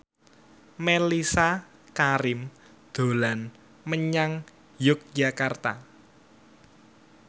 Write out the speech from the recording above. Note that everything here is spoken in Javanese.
Mellisa Karim dolan menyang Yogyakarta